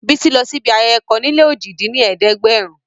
Bísí lọ síbi ayẹyẹ kan níléojì dín ní ẹ̀ẹ́dẹ́gbẹ́rún